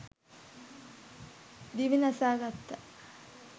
දිවි නසා ගත්තා.